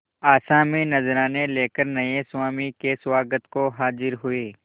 आसामी नजराने लेकर नये स्वामी के स्वागत को हाजिर हुए